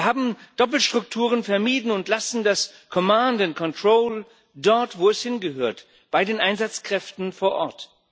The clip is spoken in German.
Wir haben Doppelstrukturen vermieden und lassen das command and control dort, wo es hingehört bei den Einsatzkräften vor Ort.